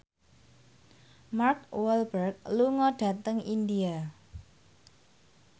Mark Walberg lunga dhateng India